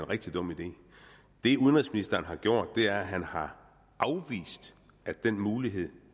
rigtig dum idé det udenrigsministeren har gjort er at han har afvist at den mulighed